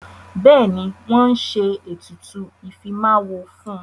Bẹ́ẹ̀ni, wọ́n ti ń ṣe ètùtù ìfimáwo fún.